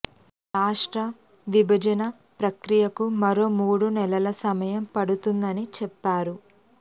రాష్ట్ర విభజన ప్రక్రియకు మరో మూడు నెలల సమయం పడుతుందని చెప్పారు